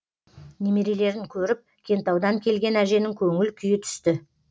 немерелерін көріп кентаудан келген әженің көңіл күйі түсті